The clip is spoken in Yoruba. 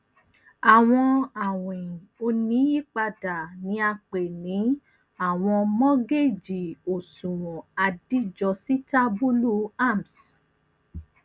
awọn awin oniyipada ni a pe ni awọn mogeji oṣuwọn adijositabulu arms